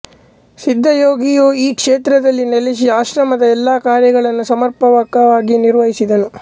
ಸಿದ್ಧಯೋಗಿಯು ಈ ಕ್ಷೇತ್ರದಲ್ಲಿ ನೆಲೆಸಿ ಆಶ್ರಮದ ಎಲ್ಲಾ ಕಾರ್ಯಗಳನ್ನು ಸಮರ್ಪಕವಾಗಿ ನಿರ್ವಹಿಸಿದನು